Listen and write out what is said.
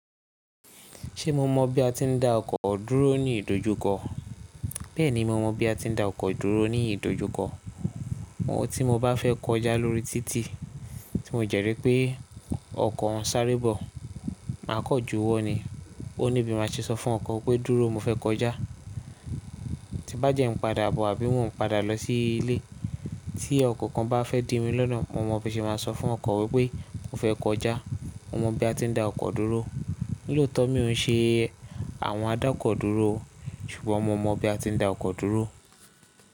Ṣé mo mọ bí a ti ń dá ọkọ̀ dúró ní ìdojúkọ? Bẹ́ẹ̀ni, mo mọ bí a ti ń dá ọkọ̀ dúró ní ìdojúkọ. Tí mo bá fẹ́ kọjá lórí títì, tí mo dẹ́rìí pé ọkọ̀ ń sáré bọ̀, màá kan jú wọ́ ni. Ó ní bí màá ṣe sọ fún ọkọ̀ pé dúró mo fẹ́ kọjá. Tí bá dẹ́ n padà bọ̀, àbí mo ń padà lọ sí ilé, tí ọkọ̀ kan bá fẹ́ dì mí lọ́nà, mo mọ̀ bí ṣe máa sọ fún ọkọ̀ wípé mo fẹ́ kọjá. Mo mọ bí a ti ń dá ọkọ̀ dúró. Lótọ́ mi ò ń ṣe àwọn adákọ̀ dúró, ṣùgbọ́n mo mọ bí a ti ń dá ọkọ̀ dúró.